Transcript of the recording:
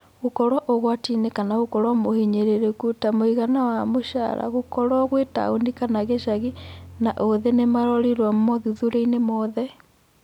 Gũkorwo ũgwatiinĩ na gũkorwo mũhinyĩrĩrĩku, ta mũigana wa mũcara, gũkorwo gwĩ-taũni kana gicagi, na ũthĩ nĩmarorirwo mothuthuriainĩ mothe.